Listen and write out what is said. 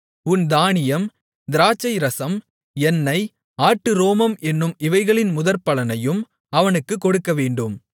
உன் தானியம் திராட்சைரசம் எண்ணெய் ஆட்டுரோமம் என்னும் இவைகளின் முதற்பலனையும் அவனுக்குக் கொடுக்கவேண்டும்